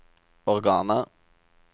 organer